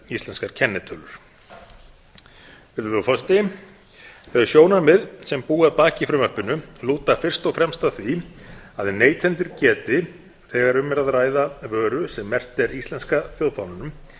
íslenskar kennitölur þau sjónarmið sem búa að baki frumvarpinu lúta fyrst og fremst að því að neytendur geti þegar um er að ræða vöru sem merkt er íslenska þjóðfánanum